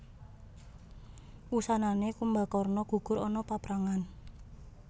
Wusanané Kumbakarna gugur ana paprangan